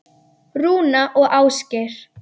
Rúna og Ásgeir.